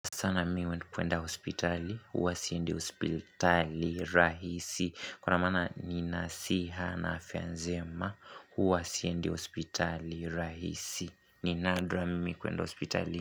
Sana mi we kuenda hospitali, huwa siendi hospitali rahisi Kwa na maana ni nasiha na afya njema, huwa siendi hospitali rahisi ni nadra mimi kuenda hospitali.